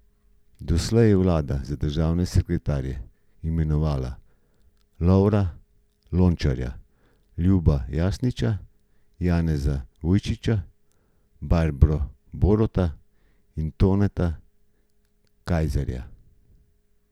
Doslej je vlada za državne sekretarje imenovala Lovra Lončarja, Ljuba Jasniča, Janeza Ujčiča, Barbro Borota in Toneta Kajzerja.